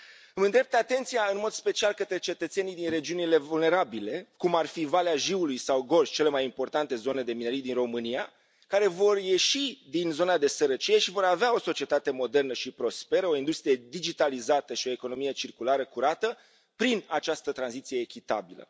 Îmi îndrept atenția în mod special către cetățenii din regiunile vulnerabile, cum ar fi Valea Jiului sau Gorj, cele mai importante zone de minerit din România, care vor ieși din zona de sărăcie și vor avea o societate modernă și prosperă, o industrie digitalizată și o economie circulară curată prin această tranziție echitabilă.